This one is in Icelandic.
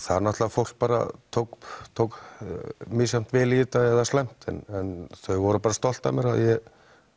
fólk tók tók misjafnlega vel í þetta gott eða slæmt en þau voru bara stolt af mér að ég